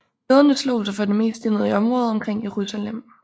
Jøderne slog sig for det meste ned i området omkring Jerusalem